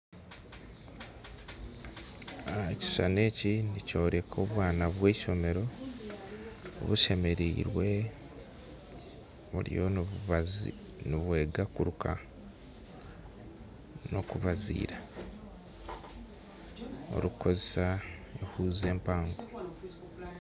Ekishishani eki nikyoreka obwana bwa ishomero bushemeriirwe buriyo nibwega kuruka nokubazira burukukozesa huzi empango